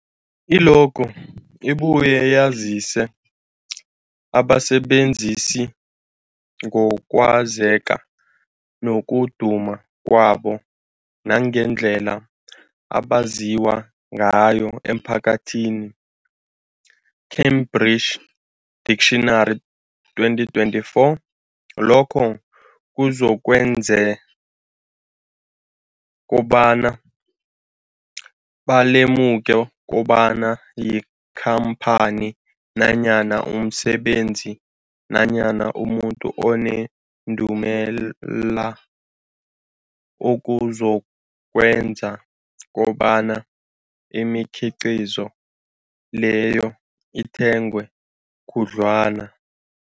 I-logo ibuye yazise abasebenzisi ngokwazeka nokuduma kwabo nangendlela abaziwa ngayo emphakathini, Cambridge Dictionary 2024. Lokho kuzokwenza kobana balemuke kobana yikhamphani nanyana umsebenzi nanyana umuntu onendumela, okuzokwenza kobana imikhiqhizo leyo ithengwe khudlwana.